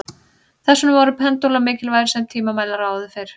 Þess vegna voru pendúlar mikilvægir sem tímamælar áður fyrr.